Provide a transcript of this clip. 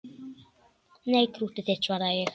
Nei, krúttið þitt, svaraði ég.